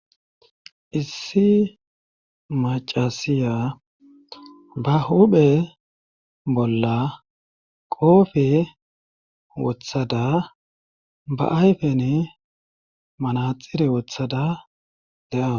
issi macasiya ba huphe bolla qoofe wothada ba ayfen manaxire wothada dawus.